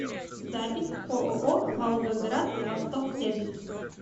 запись ооо волгоград восток сервис